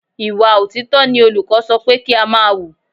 Ìwà òtítọ́ ni olùkọ́ sọ pé kí á máa wù.